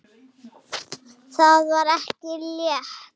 Það var ekki létt.